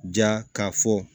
Ja k'a fɔ